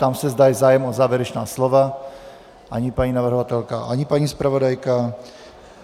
Ptám se, zda je zájem o závěrečná slova - ani paní navrhovatelka, ani paní zpravodajka.